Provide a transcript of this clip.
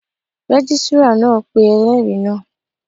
Rẹ́gísírà náà pé ẹlẹ́rìí náà